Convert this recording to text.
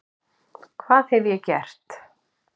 hvað hef ég gert?